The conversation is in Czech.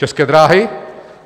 České dráhy?